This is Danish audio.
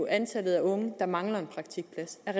antallet af unge der mangler en praktikplads er